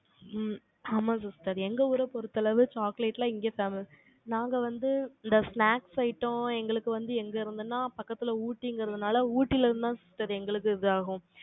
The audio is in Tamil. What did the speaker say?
ம், ஆமா sister எங்க ஊரைப் பொறுத்த அளவு, chocolate எல்லாம் இங்க நாங்க வந்து, இந்த snacks item, எங்களுக்கு வந்து, எங்க இருந்துன்னா, பக்கத்துல ஊட்டிங்கிறதுனால, ஊட்டியிலிருந்துதான் sister எங்களுக்கு இதாகும்